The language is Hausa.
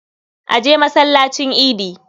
A je masallacin idi.